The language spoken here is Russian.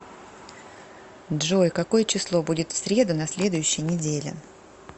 джой какое число будет в среду на следующей неделе